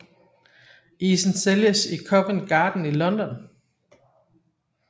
Isen sælges i Covent Garden i London